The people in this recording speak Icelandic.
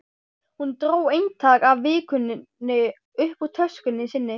Hún dró eintak af Vikunni upp úr töskunni sinni.